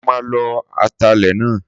Sọ ma lo atalẹ̀ náà?